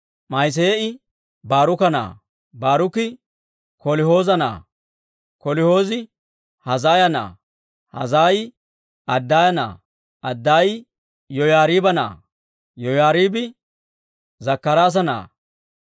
Ma'iseeyi Baaruka na'aa; Baaruki Kolihooza na'aa; Kolihoozi Hazaaya na'aa; Hazaayi Adaaya na'aa; Adaayi Yoyaariiba na'aa; Yoyaariibi Zakkaraasa na'aa.